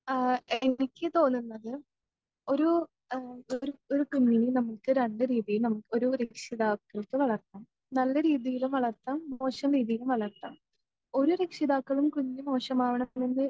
ആ എനിക്ക് തോന്നുന്നത് ഒരു ആ ഒരു ഒരു കുഞ്ഞിനെ നമുക്ക് രണ്ടുരീതിയിൽ നമു ഒരു രക്ഷിതാക്കൾക്ക് വളർത്താം നല്ല രീതിയിലും വളർത്താം മോശം രീതിയിലും വളർത്താം.ഒരു രക്ഷിതാക്കളും കുഞ്ഞ് മോശമാവണമെന്ന്